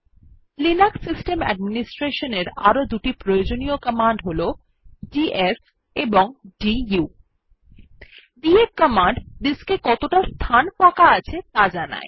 Linux system administration এর আরো দুটি প্রয়োজনীয় কমান্ড হল ডিএফ ও দু ডিএফ কমান্ড ডিস্ক এ কতটা ফাঁকা স্থান আছে যা জানায়